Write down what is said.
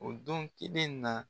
O don kelen na